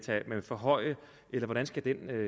forhøje eller hvordan skal den